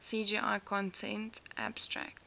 cgi content abstract